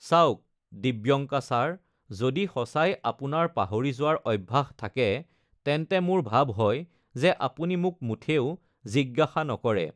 চাওক, দিব্যঙ্কা, ছাৰ, যদি সচাই আপোনাৰ পাহৰি যোৱাৰ অভ্যাস থাকে তেন্তে মোৰ ভাব হয় যে আপুনি মোক মুঠেও জিজ্ঞাসা নকৰে।